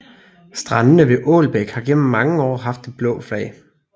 Strandene ved Ålbæk har gennem mange år haft det blå flag